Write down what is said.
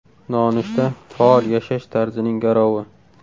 Nonushta faol yashash tarzining garovi.